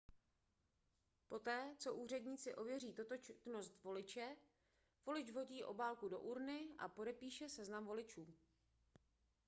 poté co úředníci ověří totožnost voliče volič vhodí obálku do urny a podepíše seznam voličů